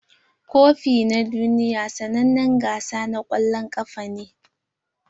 Kofi na duniya sannanen gasa na kwallon kafa ne.